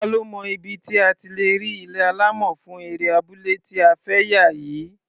Ta ló mọ ibi tí a ti lè rí ilé alámọ̀ fún eré abúlé ta fẹ́ yà yìí?